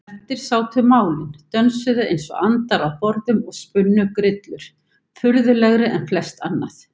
Eftir sátu málin, dönsuðu einsog andar á borðum og spunnu grillur, furðulegri en flest annað.